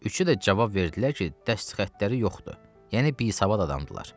Üçü də cavab verdilər ki, dəst xəttləri yoxdur, yəni bisavad adamdırlar.